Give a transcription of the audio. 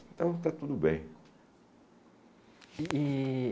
Então, está tudo bem.